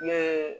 Ne ye